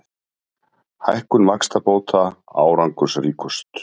Hækkun vaxtabóta árangursríkust